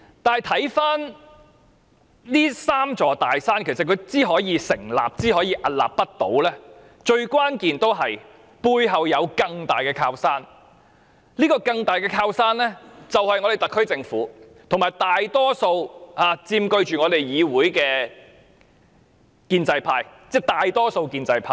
如今回顧，這"三座大山"之所以能夠出現和屹立不倒，關鍵在於其背後有一座更大的靠山，這座更大的靠山就是特區政府及佔據議會大多數的建制派。